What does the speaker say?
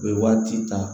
U bɛ waati ta